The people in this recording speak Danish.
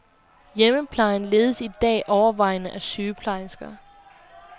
Hjemmeplejen ledes i dag overvejende af sygeplejersker.